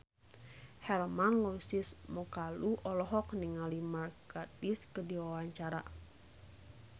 Hermann Josis Mokalu olohok ningali Mark Gatiss keur diwawancara